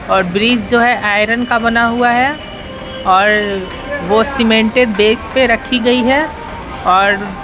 और ब्रिज जो है आयरन का बना हुआ है और वह सीमेंटेड बेस पे रखी गई है और --